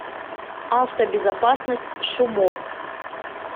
автобезопасность шумофф